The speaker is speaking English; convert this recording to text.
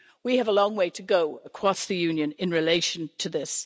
We have a long way to go across the Union in relation to this.